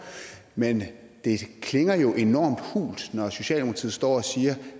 men det klinger jo enormt hult når socialdemokratiet står og siger